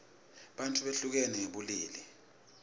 bantfu behlukene ngebulili